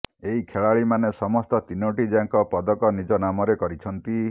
ଏହି ଖେଳାଳିମାନେ ସମସ୍ତ ତିନୋଟି ଯାକ ପଦକ ନିଜ ନାମରେ କରିଛନ୍ତି